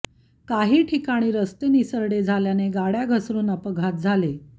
काही ठिकाणी रस्ते निसरडे झाल्याने गाड्या घसरून अपघात झाले